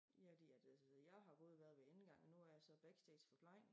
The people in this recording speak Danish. Ja de er det altså jeg har både været ved indgangen og nu er jeg så backstage forplejning